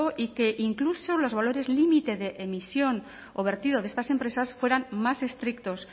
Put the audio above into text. y que incluso los valores límite de emisión o vertido de estas empresas fueran más estrictos